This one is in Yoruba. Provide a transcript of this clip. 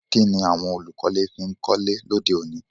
Kíni àwon olùkọ́lé fi n kọ́lé lóde òní